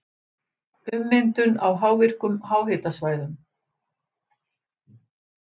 Ummyndun á virkum háhitasvæðum